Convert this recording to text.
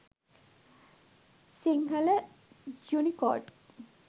sinhala unicode